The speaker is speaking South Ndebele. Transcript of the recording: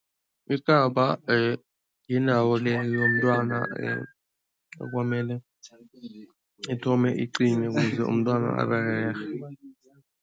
Ikaba yindawo le yomntwana ekwamele ithome iqine ukuze umntwana